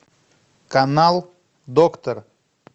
канал доктор